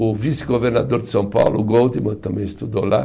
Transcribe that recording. O vice-governador de São Paulo, o Goldman, também estudou lá.